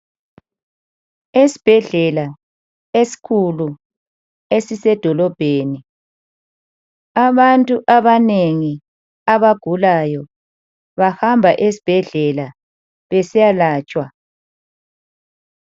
Esibhedlela esikhulu esisedolobheni. Abantu abanengi abagulayo, bahamba esibhedlela besiya latshwa.